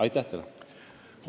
Aitäh teile!